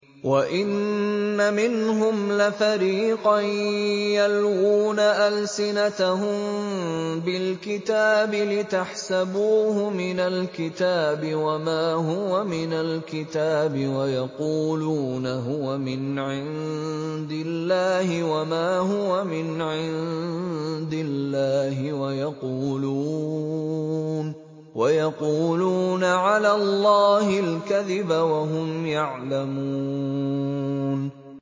وَإِنَّ مِنْهُمْ لَفَرِيقًا يَلْوُونَ أَلْسِنَتَهُم بِالْكِتَابِ لِتَحْسَبُوهُ مِنَ الْكِتَابِ وَمَا هُوَ مِنَ الْكِتَابِ وَيَقُولُونَ هُوَ مِنْ عِندِ اللَّهِ وَمَا هُوَ مِنْ عِندِ اللَّهِ وَيَقُولُونَ عَلَى اللَّهِ الْكَذِبَ وَهُمْ يَعْلَمُونَ